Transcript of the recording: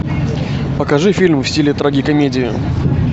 покажи фильм в стиле трагикомедия